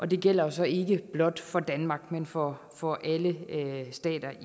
det gælder så ikke blot for danmark men for for alle stater